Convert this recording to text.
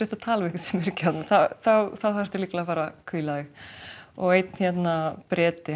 að tala við einhvern þá þarftu að fara að hvíla þig einn Breti